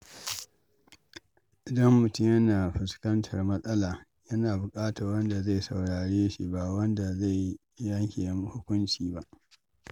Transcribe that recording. Idan mutum yana fuskantar matsala, yana buƙatar wanda zai saurare shi ba wanda zai yanke hukunci ba.